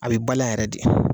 A bɛ balan yɛrɛ de